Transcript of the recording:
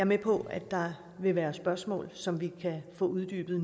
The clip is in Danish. med på at der vil være spørgsmål som vi nu kan få uddybet